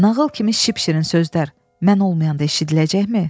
Nağıl kimi şipşirin sözlər mən olmayanda eşidiləcəkmi?